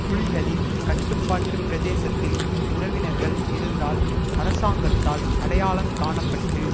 புலிகளின் கட்டுப்பாட்டு பிரதேசத்தில் உறவினர்கள் இருந்தால் அரசாங்கத்தால் அடையாளங் காண பட்டு